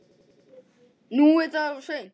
Nú er það of seint.